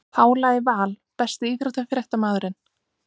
Pála í Val Besti íþróttafréttamaðurinn?